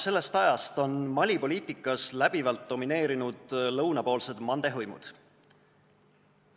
Sellest ajast alates on Mali poliitikas läbivalt domineerinud lõunapoolsed mande hõimud.